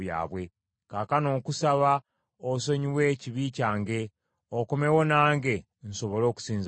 Kaakano nkusaba, osonyiwe ekibi kyange, okomewo nange nsobole okusinza Mukama .”